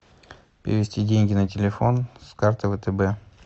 перевести деньги на телефон с карты втб